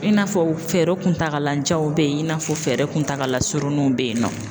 I n'a fɔ fɛɛrɛ kuntagala janw be yen i n'a fɔ fɛɛrɛ kuntagala suruninw be yen nɔ.